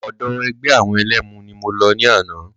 Ọ̀dọ̀ ẹgbẹ́ àwọn ẹlẹ́mu ni mo lọ ní àná.